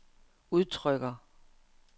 udtrykker